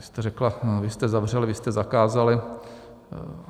Vy jste řekla: vy jste zavřeli, vy jste zakázali.